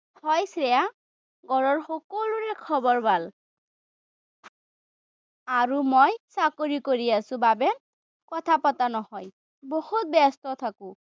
হয় শ্ৰেয়া, ঘৰৰ সকলোৰে খবৰ ভাল। আৰু মই চাকৰি কৰি আছো বাবে কথা পতা নহয়। বহুত ব্যস্ত থাকো।